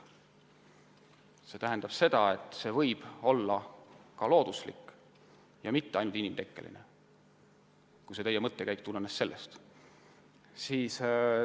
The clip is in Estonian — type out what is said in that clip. " See tähendab seda, et temperatuuri tõus võib olla ka looduslik, mitte ainult inimtekkeline – kui teie mõttekäik tulenes sellest.